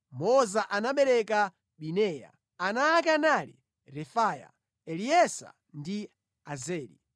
Moza anabereka Bineya. Ana ake anali Refaya, Eleasa ndi Azeli.